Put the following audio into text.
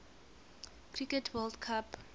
cricket world cup